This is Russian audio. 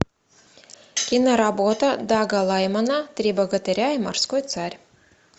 киноработа дага лаймана три богатыря и морской царь